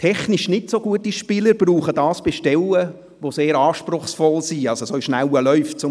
Technisch nicht so gute Spieler gebrauchen dies bei Stellen, die sehr anspruchsvoll sind, zum Beispiel bei schnellen Läufen.